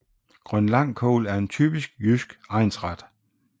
Grønlangkål er en typisk jysk egnsret